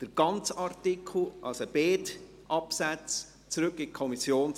Der ganze Artikel 84, also beide Absätze, sollen zurück in die Kommission.